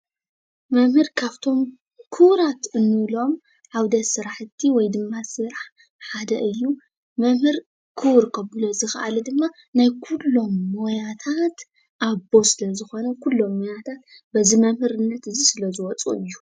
መምህር ካብቶም ክቡራት እንብሎም ዓውደ ስራሕቲ ወይ ድማ ስራሕ ሓደ እዩ፡፡ መምህር ክቡር ከብሎ ዝኸኣለ ድማ ናይ ኩሎም ሞያታት ኣቦ ስለ ዝኾነ ኩሎም ሞያታት በዚ መምህርነት ስለ ዝወፁ እዩ፡፡